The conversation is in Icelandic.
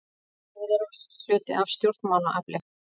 Við erum ekki hluti af stjórnmálaafli